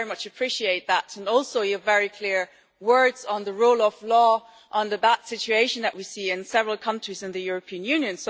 I very much appreciate that. Thank you also for your very clear words on the rule of law, on the bad situation that we see in several countries in the European Union.